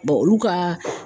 olu ka